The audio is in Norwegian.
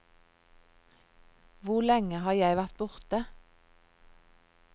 Hvor lenge har jeg vært borte?